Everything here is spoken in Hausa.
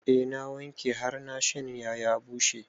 Eh na wanke har na shanya ya bushe